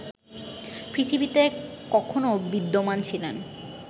পৃথিবীতে কখনও বিদ্যমান ছিলেন